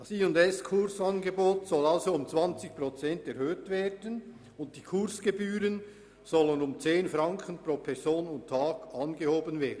Das J+S-Kursangebot soll also um 20 Prozent erhöht und die Kursgebühren sollen um 10 Franken pro Person und Tag angehoben werden.